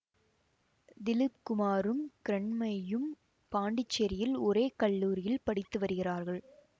திலீப் குமாரும் கிரண்மையும் பாண்டிச்சேரியில் ஒரே கல்லூரியில் படித்து வருகிறார்கள்